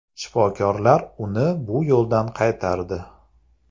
Shifokorlar uni bu yo‘ldan qaytardi.